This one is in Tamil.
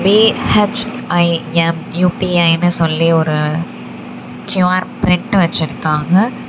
பி_ஹெச்_ஐ_எம் யு_பி_ஐ னு சொல்லி ஒரு க்யு_ஆர் பிரிண்டு வெச்சுருக்காங்க.